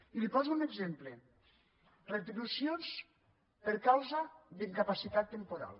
i li poso un exemple retribucions per causa d’incapacitat temporal